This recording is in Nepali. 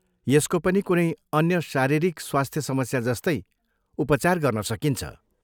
यसको पनि कुनै अन्य शारीरिक स्वास्थ्य समस्या जस्तै उपचार गर्न सकिन्छ।